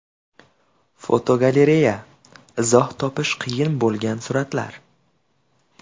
Fotogalereya: Izoh topish qiyin bo‘lgan suratlar.